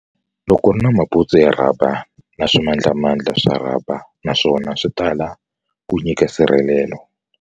Loko u ri na mabuntsu ya rhaba na swimandlamandla swa rhaba naswona swi tala ku nyika nsirhelelelo.